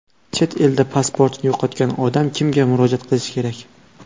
Chet elda pasportini yo‘qotgan odam kimga murojaat qilishi kerak?.